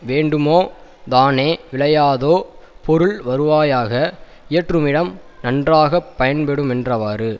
வேண்டுமோ தானே விளையாதோ பொருள் வருவாயாக இயற்றுமிடம் நன்றாக பயன்படுமென்றவாறு